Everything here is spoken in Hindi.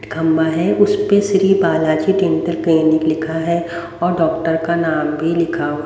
खम्बा है उस पे श्री बालाजी डेंटल क्लीनिक लिखा है और डॉक्टर का नाम भी लिखा हुआ है।